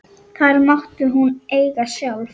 Þær mátti hún eiga sjálf.